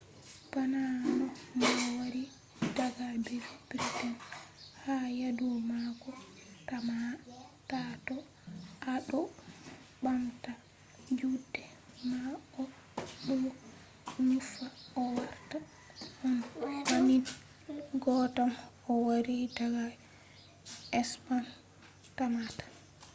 bana no mo wari daga briten ha yadu mako tamma ta to a ɗo ɓamta juɗe ma a ɗo nufa o warta on banning goddam o wari daga spen tammata